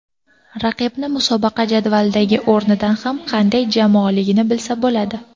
Raqibni musobaqa jadvalidagi o‘rnidan ham qanday jamoaligini bilsa bo‘ladi.